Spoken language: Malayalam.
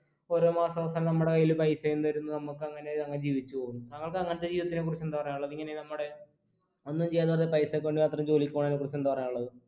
ഓരോമാസ അവസാനം നമ്മുടെ കയ്യിൽ പൈസയും തരുന്നു നമുക്ക് അങ്ങനെ അങ്ങ് ജീവിച്ച് പോവുന്നു താങ്കൾക്ക് അങ്ങത്തെ ജീവിതത്തിനെ കുറിച്ച് എന്താ പറയാനുള്ളെ ഇങ്ങനെ നമ്മുടെ ഒന്നും ചെയ്യാതെ വെറുതെ പൈസക്ക് വേണ്ടി മാത്രം ജോലിക്ക് പോണേനെ കുറിച്ച് എന്താ പറയാനുള്ളത്